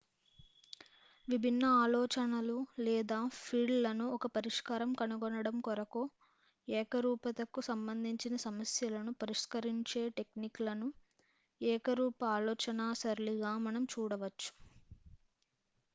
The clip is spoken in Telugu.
విభిన్న ఆలోచనలు లేదా ఫీల్డ్ లను ఒక పరిష్కారం కనుగొనడం కొరకు ఏకరూప త కు సంబంధించి సమస్యలను పరిష్కరించే టెక్నిక్ లను ఏకరూప ఆలోచనా సరళిగా మనం చూడవచ్చు